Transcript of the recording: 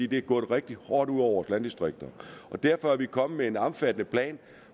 det er gået rigtig hårdt ud over landdistrikterne derfor er vi kommet med en omfattende plan